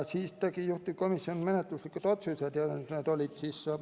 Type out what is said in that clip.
Juhtivkomisjon tegi menetluslikud otsused.